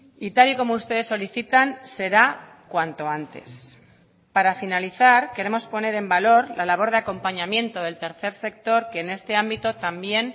y tal y como ustedes solicitan será cuanto antes para finalizar queremos poner en valor la labor de acompañamiento del tercer sector que en este ámbito también